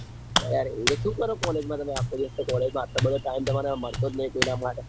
અરે એવું તો સુ કરો college માં તમે આખો દિવસ તે માં આટલો બધો ટાઈમ બગાડો એનો મામળતો જ નાઈ કોઈના માટે.